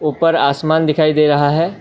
ऊपर आसमान दिखाई दे रहा है।